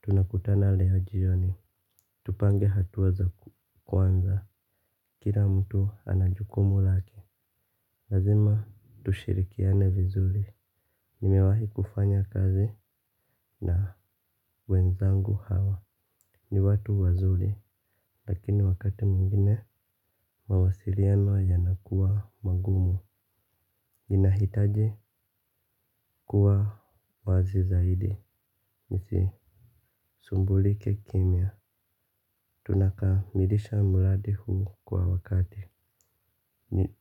Tunakutana leo jioni. Tupange hatua za kwanza. Kira mtu ana jukumu lake. Lazima tushirikiane vizuli. Nimewahi kufanya kazi na wenzangu hawa. Ni watu wazuri. Lakini wakati mwingine mawasiriano yanakua mangumu. Inahitaji kuwa wazi zaidi. Nisisumbulike kimya. Tunakamilisha mradi huu kwa wakati.